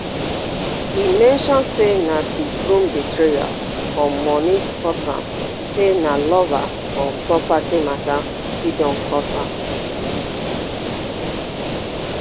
e mention say na di groom betrayal and money cause am say na lover or property mata fit don cause am